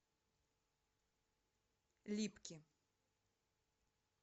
липки